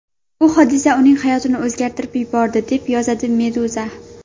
Bu hodisa uning hayotini o‘zgartirib yubordi, deb yozadi Meduza.